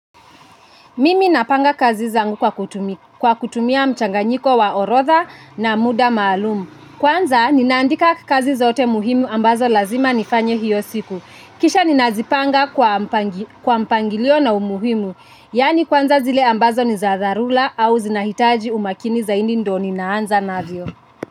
Mimi napanga kazi zangu kwa kutumia mchanganyiko wa orodha na muda maalum. Kwanza, ninaandika kazi zote muhimu ambazo lazima nifanye hiyo siku. Kisha ninazipanga kwa mpangilio na umuhimu. Yaani kwanza zile ambazo ni za dharula au zinahitaji umakini zaindi ndo ninaanza navyo.